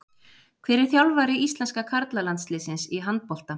Hver er þjálfari íslenska karla landsliðsins í handbolta?